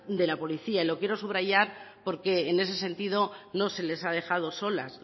de la policía y lo quiero subrayar porque en ese sentido no se les ha dejado solas